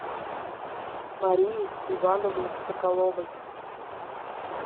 марии ивановне соколовой